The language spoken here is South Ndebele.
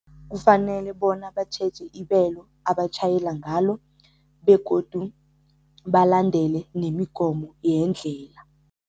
Kufanele bona batjheje ibelo abatjhayela ngalo begodu balandele nemigomo yendlela.